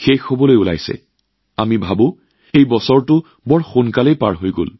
আৰু প্ৰতিবাৰৰ দৰে আপোনালোকে আৰু মইও ভাবি আছো যে চাওক এই বছৰটো ইমান সোনকালে পাৰ হৈ গল